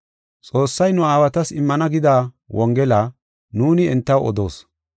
“Xoossay nu aawatas immana gida Wongela nuuni hintew odoos.